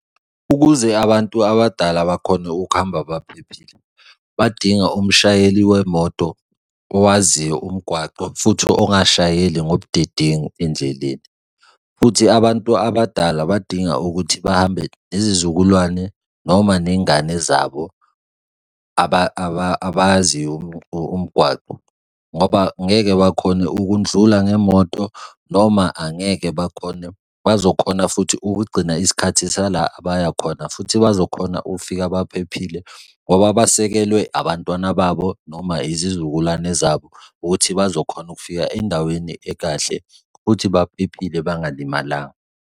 Ukuze abantu abadala bakhone ukuhamba baphephile, badinga umshayeli wemoto owaziyo umgwaqo futhi ongashayeli ngobudedengu endleleni. Futhi abantu abadala badinga ukuthi bahambe nezizukulwane noma ney'ngane zabo abaziyo umgwaqo ngoba ngeke bakhone ukundlula ngemoto noma angeke bakhone, bazokhona futhi ukugcina isikhathi sala abaya khona, futhi bazokhona ukufika baphephile ngoba basekelwe abantwana babo noma izizukulwane zabo ukuthi bazokhona ukufika endaweni ekahle futhi baphephile bangalimalanga.